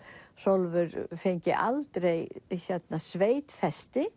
Hrólfur fengi aldrei